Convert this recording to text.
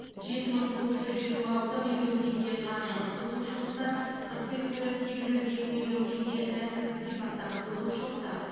жеті мың тоғыз жүз жиырма алты миллион теңге қаржылық бұзушылықтар қырық бес миллион сегіз жүз екі миллион теңге рәсімдік сипаттағы бұзушылықтар